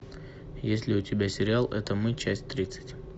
есть ли у тебя сериал это мы часть тридцать